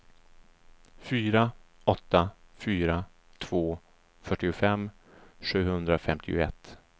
fyra åtta fyra två fyrtiofem sjuhundrafemtioett